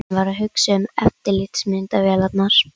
Hann var að hugsa um eftirlitsmyndavélarnar.